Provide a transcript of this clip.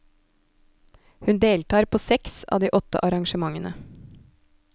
Hun deltar på seks av de åtte arrangementene.